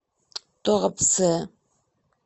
туапсе